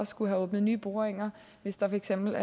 skulle have åbnet nye boringer hvis der for eksempel